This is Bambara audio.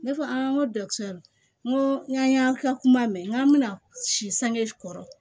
Ne ko an ko n ko n k'a y'an kila kuma mɛn n k'an bɛna si sange kɔrɔ